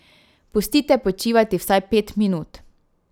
Pustite počivati vsaj pet minut.